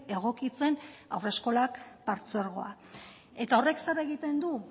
egokitzen haurreskolak partzuergoa eta horrek zer egiten du